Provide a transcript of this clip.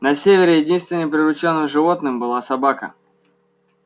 на севере единственным приручённым животным была собака